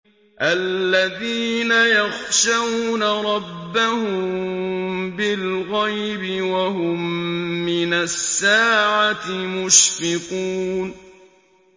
الَّذِينَ يَخْشَوْنَ رَبَّهُم بِالْغَيْبِ وَهُم مِّنَ السَّاعَةِ مُشْفِقُونَ